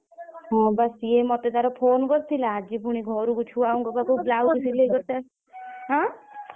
ହଁ ବା ସେଇଏ ମତେ ଥରେ phone କରିଥିଲା ଆଜି ପୁଣି ଘରକୁ ଛୁଆଙ୍କ ପାଖକୁ blouse ସିଲେଇ କରିତେ ଆସିଥିଲା ହଁ?